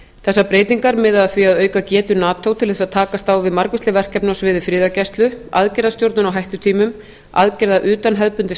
þessar breytingar miða að því að auka getu nato til þess að takast á við margvísleg verkefni á sviði friðargæslu aðgerðastjórnun á hættutímum aðgerða utan hefðbundins